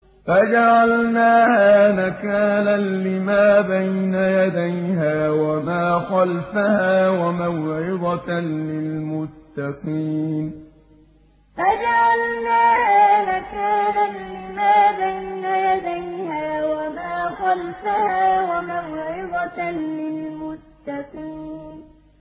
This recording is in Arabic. فَجَعَلْنَاهَا نَكَالًا لِّمَا بَيْنَ يَدَيْهَا وَمَا خَلْفَهَا وَمَوْعِظَةً لِّلْمُتَّقِينَ فَجَعَلْنَاهَا نَكَالًا لِّمَا بَيْنَ يَدَيْهَا وَمَا خَلْفَهَا وَمَوْعِظَةً لِّلْمُتَّقِينَ